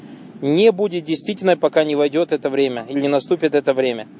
не будет действительной пока не войдёт это время и не наступит это время